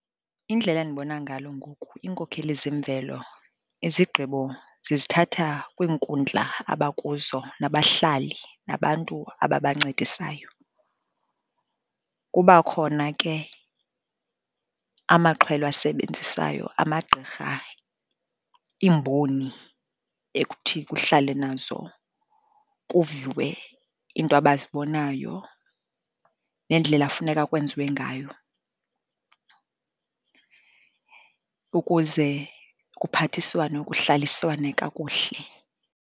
Indlela endibona ngalo ngoku, iinkokheli zemvelo izigqibo zizithatha kwiinkundla abakuzo nabahlali, nabantu ababancedisayo. Kuba khona ke amaxhwelwe asebenzisayo, amagqirha, iimboni ekuthi kuhlale nazo kuviwe iinto abazibonayo neendlela funeka kwenziwe ngayo ukuze kuphathiswane, kuhlaliswane kakuhle.